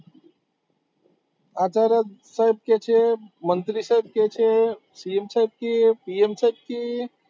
આ તરફ સાહેબ કે છે, મંત્રી સાહેબ કે છે C. M. સાહેબ કે P. M. સાહેબ કે